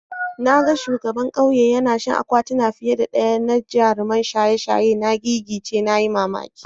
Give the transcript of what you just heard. Na ga shugaban kauyen yana shan akwatuna fiye da daya na jaruman shaye-shaye. Na gigice (na yi mamaki.